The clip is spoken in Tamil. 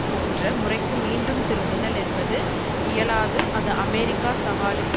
போன்ற முறைக்கு மீண்டும் திரும்புதல் என்பது இயலாது அது அமெரிக்கா சவாலுக்கு